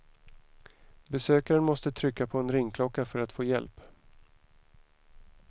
Besökaren måste trycka på en ringklocka för att få hjälp.